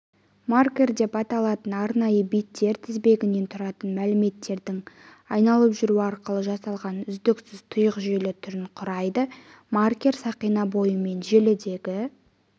маркер деп аталатын арнайы биттер тізбегінен тұратын мәліметтердің айналып жүруі арқылы жасалған үздіксіз тұйық желі түрін құрайды маркер сақина бойымен желідегі